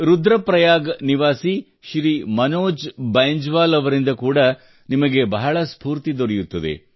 ರುದ್ರ ಪ್ರಯಾಗ ನಿವಾಸಿ ಶ್ರೀ ಮನೋಜ್ ಬೈಂಜ್ ವಾಲ್ ಅವರಿಂದ ಕೂಡಾ ನಿಮಗೆ ಬಹಳ ಸ್ಫೂರ್ತಿ ದೊರೆಯುತ್ತದೆ